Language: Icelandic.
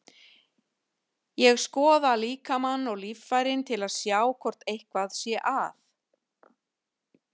Ég skoða líkamann og líffærin til að sjá hvort eitthvað sé að.